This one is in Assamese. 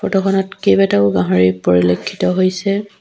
ফটো খনত কেইবাটাও গাহৰি পৰিলক্ষিত হৈছে।